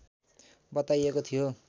बताइएको थियो